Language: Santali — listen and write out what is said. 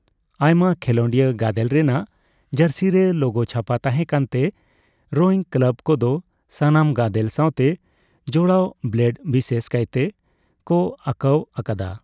ᱟᱭᱢᱟ ᱠᱷᱮᱞᱚᱱᱰᱤᱭᱟᱹ ᱜᱟᱫᱮᱞ ᱨᱮᱱᱟᱜ ᱡᱟᱹᱨᱥᱤ ᱨᱮ ᱞᱳᱜᱳ ᱪᱷᱟᱯᱟ ᱛᱟᱦᱮᱸ ᱠᱟᱱ ᱛᱮ, ᱨᱳᱭᱤᱝ ᱠᱞᱟᱵ ᱠᱚᱫᱚ ᱥᱟᱱᱟᱢ ᱜᱟᱫᱮᱞ ᱥᱟᱣᱛᱮ ᱡᱚᱲᱟᱣ ᱵᱞᱮᱰ ᱵᱤᱥᱮᱥ ᱠᱟᱭᱛᱮ ᱠᱚ ᱟᱠᱟᱣ ᱟᱠᱟᱫᱟ ᱾